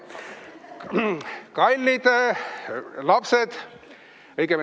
Kallid lapsed!